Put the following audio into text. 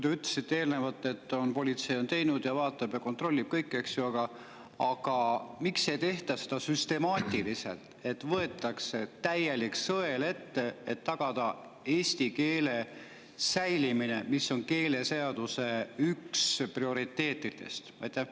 Te ütlesite eelnevalt, et politsei on teinud ja vaatab ja kontrollib kõike, eks ju, aga miks ei tehta seda süstemaatiliselt, et võetakse täielik sõel ette, et tagada eesti keele säilimine, mis on üks keeleseaduse prioriteetidest?